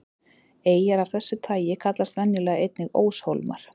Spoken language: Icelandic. Eyjar af þessu tagi kallast venjulega einnig óshólmar.